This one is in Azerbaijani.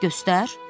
Göstər.